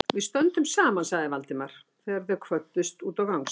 Við stöndum saman sagði Valdimar, þegar þeir kvöddust úti á gangstétt.